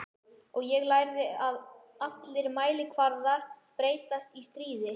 Og ég lærði að allir mælikvarðar breytast í stríði.